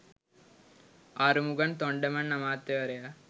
ආරුමුගන් තොන්ඩමන් අමාත්‍යවරයා